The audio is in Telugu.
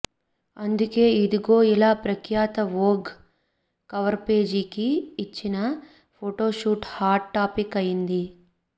అందుకే ఇదిగో ఇలా ప్రఖ్యాత వోగ్ కవర్పేజీకి ఇచ్చిన ఫోటోషూట్ హాట్ టాపిక్ అయ్యింది